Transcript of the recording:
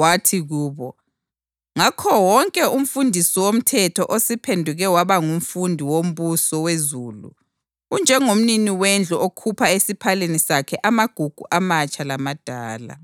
Wathi kubo, “Ngakho wonke umfundisi womthetho osephenduke waba ngumfundi wombuso wezulu unjengomnini wendlu okhupha esiphaleni sakhe amagugu amatsha lamadala.”